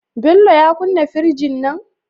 Bello ya kunna firjin nan?